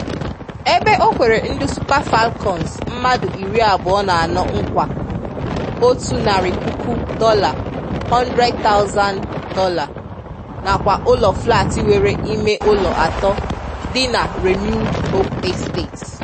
Ébé ọ kwèrè ndị Super Falcons mmadụ iri abụọ na anọ nkwa otu narị puku dọla ($100,000) nakwa ụlọ flat nwere ìmé ụlọ atọ dị na Renewed Hope Estate.